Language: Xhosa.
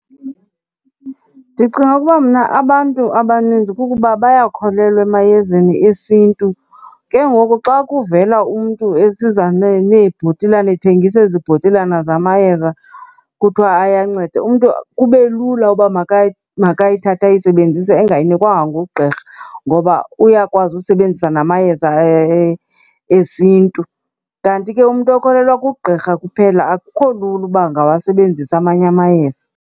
Ndicinga ukuba mna abantu abaninzi kukuba bayakholelwa emayezeni esiNtu. Ke ngoku xa kuvela umntu esiza neebhotilana ethengisa ezi bhotilana zamayeza kuthiwa ayanceda, umntu kube lula uba makayithathe ayisebenzise engayinikwanga ngugqirha ngoba uyakwazi usebenzisa namayeza esiNtu. Kanti ke umntu okholelwa kugqirha kuphela akukho lula uba angawasebenzisi amanye amayeza.